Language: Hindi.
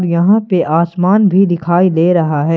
यहां पे आसमान भी दिखाई दे रहा है।